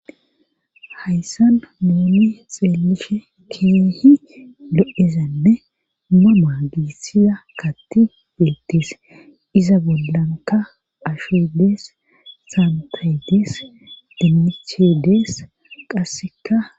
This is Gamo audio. Hayssan nuuni xeelishe keehi lo'ezanne mama giissiza katti beettis iza bollanka ashe dees santedees dimiche dees qasseka